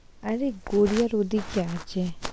আরে গড়িয়া রোডে এর